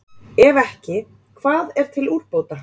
Ef ekki, hvað er til úrbóta?